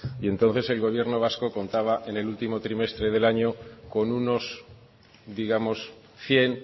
y entonces el gobierno vasco contaba en el último trimestre del año con unos digamos cien